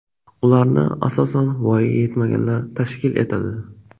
Ularni, asosan, voyaga yetmaganlar tashkil etadi.